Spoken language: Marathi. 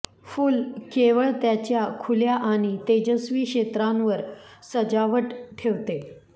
फुल केवळ त्याच्या खुल्या आणि तेजस्वी क्षेत्रांवर सजावट ठेवते